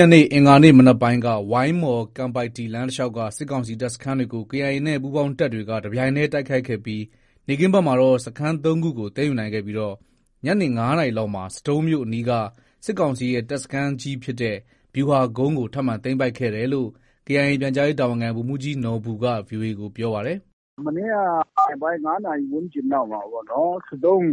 ရက်နေ့ အင်္ဂါနေ့ မနက်ပိုင်းက ဝိုင်းမော်- ကန်ပိုက်တီလမ်း တလျှောက်က စစ်ကောင်စီ တပ်စခန်းတွေကို KIAနဲ့ ပူးပေါင်းတပ်တွေက တပြိုင်တည်း တိုက်ခိုက်ခဲ့ပြီး နေ့ခင်းဘက်မှာတော့ စခန်း ၃ခုကို သိမ်းယူနိုင်ခဲ့ပြီး ညနေ ၅နာရီလောက်မှာ ဆဒုံးမြို့အနီးက စစ်ကောင်စီရဲ့တပ်စခန်းကြီးဖြစ်တဲ့ ဗျူဟာကုန်းကို ထပ်မံ သိမ်းပိုက်ခဲ့တယ်လို့ KIA ပြန်ကြားရေးတာဝန်ခံ ဗိုလ်မှုးကြီးနော်ဘူက ဗွီအိုအေ ကို ပြောပါတယ်။ “မနေ့က ညနေပိုင်း ၅နာရီ ဝန်းကျင်လောက်မှာ ပေါ့နော် ဆဒုံး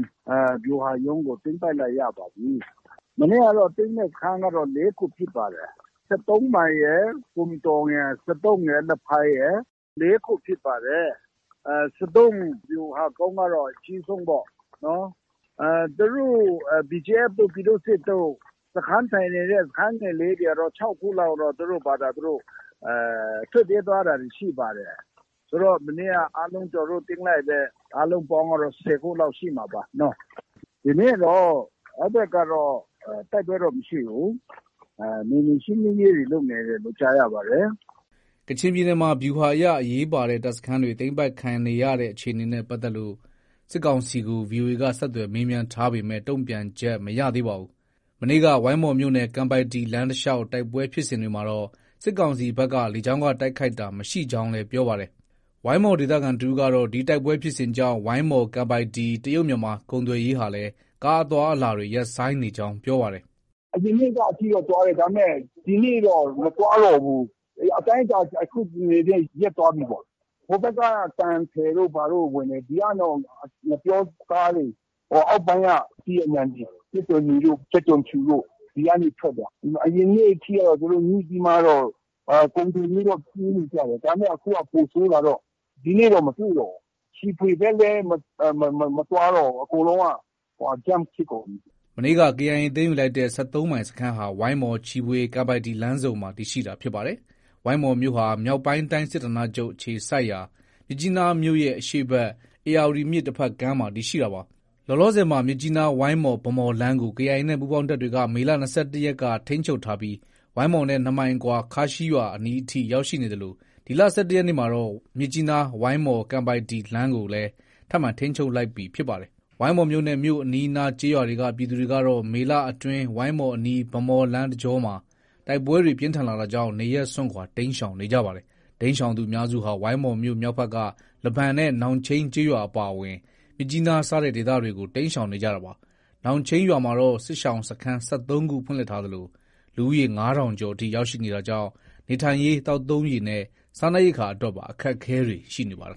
ဗျူဟာရုံးကို သိမ်းပိုက်လို့ ရပါပြီ။ မနေ့ကတော့ သိမ်းတဲ့ စခန်းကတော့ ၄ခုဖြစ်ပါတယ်။ ၁၃မိုင်ရယ်၊ ဘွမ်တောင်ရယ်၊ ဆဒုံးရယ်၊ လဖိုင်ရယ်။ ၄ခုဖြစ်ပါတယ်။ ဆဒုံးဗျူဟာကုန်းကတော့ အကြီးဆုံးပေ့ါနော်။ သူတို့ BGF တို့၊ ပြည်သူ့စစ်တို့ စခန်းထိုင်နေတဲ့ စခန်းငယ်လေးတွေကတော့ ၆ခုလောက်တော့ သူတို့ဖာသာ သူတို့ ထွက်ပြေးသွားတာတွေ ရှိပါတယ်။ ဆိုတော့ မနေ့က အားလုံး ကျနော်တို့ သိမ်းလိုက်တဲ့ အားလုံးပေါင်းကတော့ ၁၀ခုလောက်ရှိမှာပါ။ ဒီနေ့တော့ အဲဒီဘက်တော့ တိုက်ပွဲတော့ မရှိဘူး။ နယ်မြေရှင်းလင်းရေးတွေ လုပ်နေတယ်လို့ ကြားရပါတယ်။ ” ကချင်ပြည်နယ်မှာ ဗျူဟာအရ အရေးပါတဲ့ တပ်စခန်းတွေ သိမ်းပိုက်ခံနေရတဲ့အခြေအနေနဲ့ ပတ်သက်လို့ စစ်ကောင်စီကို ဗွီအိုအေက ဆက်သွယ်မေးမြန်းထားပေမဲ့ တုံ့ပြန်ချက်မရသေးပါဘူး။ မနေ့က ဝိုင်းမော်မြို့နယ် ကန်ပိုက်တီလမ်းတလျှောက်တိုက်ပွဲဖြစ်စဉ်တွေမှာတော့ စစ်ကောင်စီဘက်က လေကြောင်းက တိုက်ခိုက်တာ မရှိကြောင်းလည်း ပြောပါတယ်။ ဝိုင်းမော်ဒေသခံ တဦးကတော့ ဒီတိုက်ပွဲဖြစ်စဉ်ကြောင့် ဝိုင်းမော်- ကန်ပိုက်တီ တရုတ်-မြန်မာကုန်သွယ်ရေးလမ်းဟာလည်း ကားအသွားအလာတွေ ရပ်ဆိုင်းနေကြောင်း ပြောပါတယ်။ “ အရင်နေ့က အထိ သွားတယ်။ ဒါပေမဲ့ ဒီနေ့တော့ မသွားတော့ဘူး။ အေး အတိုင်းအတာတခုအနေနဲ့ ရပ်သွားပြီပေါ့။ ဟိုဘက်က သံထည်တို့ဘာတို့ ဝင်တယ်။ ဒီကတော့ ငှက်ပျောကားတွေ၊ အောက်ပိုင်းက အသီးအနှံတွေ၊ ကြက်သွန်နီတို့၊ ကြက်သွန်ဖြူတို့ ဒီကနေ ထွက်တယ်။ အရင်နေ့အထိကတော့ သူတို့ ညှိပြီးမှတော့ ကုန်တင်ပြီးတော့ ပြေးနေကြတယ်။ ဒါပေမဲ့ အခုက ပိုဆိုးလာတော့ ဒီနေ့တော့ မတွေ့တော့ဘူး။ ချီဖွေဘက်လည်း မသွားတော့ဘူး။ ” မနေ့က KIA သိမ်းယူလိုက်တဲ့ ၁၃မိုင်စခန်းဟာ ဝိုင်းမော်၊ ချီဖွေ၊ ကန်ပိုက်တီလမ်းဆုံမှာ တည်ရှိတာဖြစ်ပါတယ်။ ဝိုင်းမော်မြို့ဟာ မြောက်ပိုင်းတိုင်းစစ်ဌာနချုပ် အခြေစိုက်ရာ မြစ်ကြီးနားမြို့ရဲ့ အရှေ့ဘက် ဧရာဝတီမြစ် တဘက်ကမ်းမှာ တည်ရှိတာပါ။ လောလောဆည်မှာ မြစ်ကြီးနား- ဝိုင်းမော် - ဗန်းမော်လမ်းကို KIA နဲ့ပူးပေါင်းတပ်တွေက မေလ ၂၁ရက်က ထိန်းချုပ်ထားပြီး ဝိုင်းမော်နဲ့ ၂မိုင်အကွာ ခါးရှီရွာအနီးထိ ရောက်ရှိနေသလို ဒီလ ၁၁ရက်နေ့မှာတော့ မြစ်ကြီးနား- ဝိုင်းမော်- ကန်ပိုက်တီလမ်းကိုလည်း ထပ်မံ ထိန်းချုပ်လိုက်ပြီဖြစ်ပါတယ်။ ဝိုင်းမော်မြို့နဲ့ မြို့အနီးအနားကျေးရွာတွေက ပြည်သူတွေကတော့ မေလအတွင်း ဝိုင်းမော်အနီး ဗန်းမော်လမ်းတကြောမှာ တိုက်ပွဲတွေ ပြင်းထန်လာတာကြောင့် နေရပ်စွန့်ခွာ တိမ်းရှောင်နေကြပါတယ်။ တိမ်းရှောင်သူအများစုဟာ ဝိုင်းမော်မြို့ မြောက်ဖက်က လဘန်နဲ့ နောင်ချိန်းကျေးရွာအပါအဝင် မြစ်ကြီးနား စတဲ့ ဒေသတွေကို တိမ်းရှောင်နေကြတာပါ။ နောင်ချိန်းရွာမှာတော့ စစ်ရှောင်စခန်း ၁၃ခုဖွင့်လှစ်ထားသလို လူဦးရေ ၅ထောင်ကျော်အထိ ရောက်ရှိနေတာကြောင့် နေထိုင်ရေး၊ သောက်သုံးရေနဲ့ စားနပ်ရိက္ခာအတွက်ပါ အခက်အခဲတွေ ရှိနေပါတယ်